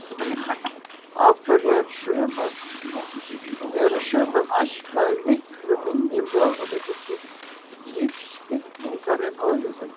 Af hverju eru sumum ætlaðir miklu minni möguleikar til lífsfyllingar en öðrum?